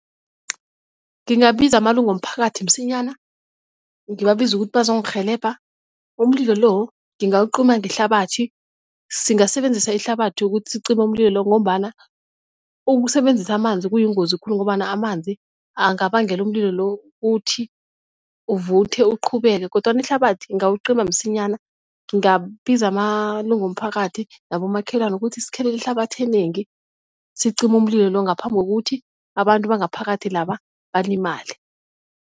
Ngingabiza amalunga womphakathi msinyana, ngiwabize ukuthi bazongirhelebha. Umlilo lo ngingawucima ngehlabathi singasebenzisa ihlabathi ukuthi sicime umlilo lo ngombana ukusebenzisa amanzi kuyingozi khulu ngombana amanzi angabangela umlilo lo ukuthi uvuthe uqhubeke, kodwana ihlabathi ingawuqinima msinyana. Ngingabiza amalungu womphakathi nabomakhelwane ukuthi sikhelele ihlabathi enengi sicime umlilo lo ngaphambi kokuthi abantu bangaphakathi laba balimale.